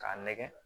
K'a nɛgɛ